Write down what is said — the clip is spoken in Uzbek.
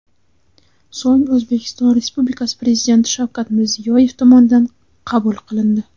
So‘ng O‘zbekiston Respublikasi Prezidenti Shavkat Mirziyoyev tomonidan qabul qilindi .